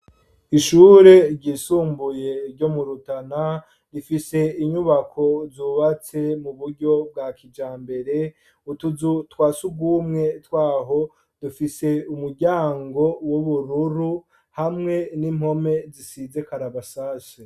Ishuri ryisumbuye, ryo mu Rutana, rifise inyubako, zubatse ku buryo bwa Kijambere; utuzu twa surwumwe tw'aho, dufise umuryango w'ubururu, hamwe n'impone zisize karabasase.